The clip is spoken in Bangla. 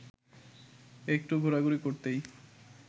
একটু ঘোরাঘুরি করতেই